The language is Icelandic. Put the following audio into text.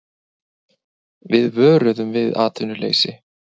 Við vöruðum við atvinnuleysi